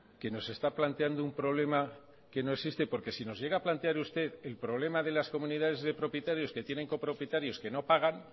que nos está planteando un problema que no existe porque si nosllega a plantear usted el problema de las comunidades de propietarios que tienen copropietarios que no pagan